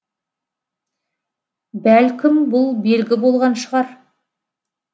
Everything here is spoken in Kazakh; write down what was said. бәлкім бұл белгі болған шығар